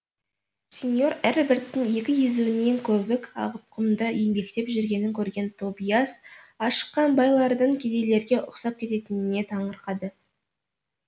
сеньор эрберттің екі езуінен көбік ағып құмда еңбектеп жүргенін көрген тобиас ашыққан бай лардың кедейлерге ұқсап кететініне таңырқады